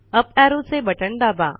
up arrow चे button दाबा